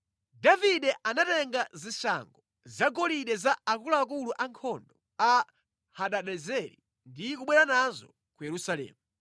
Davide anatenga zishango zagolide za akuluakulu ankhondo a Hadadezeri ndi kubwera nazo ku Yerusalemu.